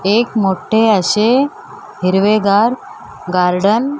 एक मोठे अशे हिरवेगार गार्डन --